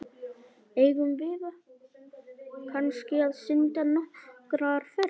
Eigum við kannski að synda nokkrar ferðir?